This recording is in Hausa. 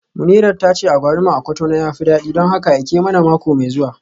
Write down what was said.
Munirat tace agwaluma a Cotonou ya fi dadi don haka aike mana mako mai zuwa